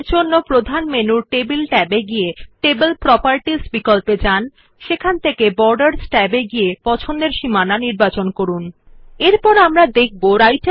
এরজন্য প্রধান মেনুর টেবল ট্যাব এবং টেবিল প্রোপার্টি বিকল্প মধ্যে ছক ট্যাব থেকে যথাযথ বিকল্পটি বেছে নিন সীমানাFor this select table tab in the main menu and table properties option borders tab to select appropriate option